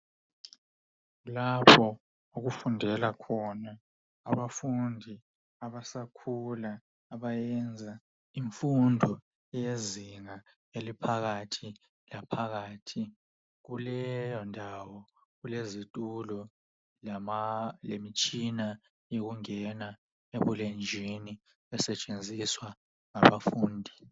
Lapho okufundela khona abafundi abasakhula abayenza imfundo yezinga eliphakathi laphakathi kuleyo ndawo kulezitulo lemitshina yokungena ebulenjwini esetshenziswa ngabafundi.